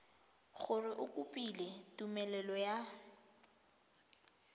gore o kopile tumelelo ya